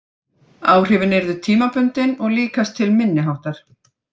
Áhrifin yrðu tímabundin og líkast til minniháttar.